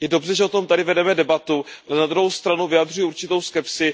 Je dobře, že o tom tady vedeme debatu, ale na druhou stranu vyjadřuji určitou skepsi.